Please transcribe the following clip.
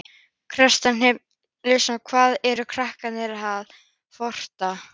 Kjartan Hreinn Njálsson: Hvað eru krakkarnir að, að forrita?